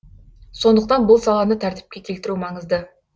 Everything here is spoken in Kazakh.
сондықтан бұл саланы тәртіпке келтіру маңызды